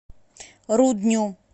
рудню